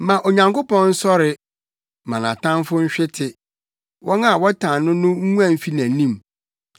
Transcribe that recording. Ma Onyankopɔn nsɔre, ma nʼatamfo nhwete; wɔn a wɔtan no no nguan mfi nʼanim.